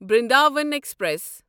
Brindavan express